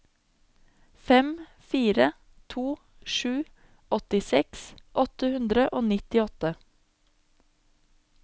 fem fire to sju åttiseks åtte hundre og nittiåtte